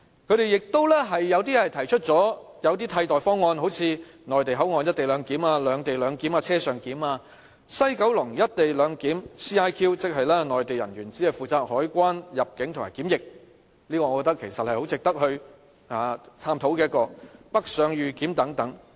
有些人亦提出了一些替代方案，好像內地口岸"一地兩檢"、"兩地兩檢"、"車上檢"、西九龍"一地兩檢"，即內地人員只負責海關、入境及檢疫，我覺得這是很值得探討的，還有北上預檢等。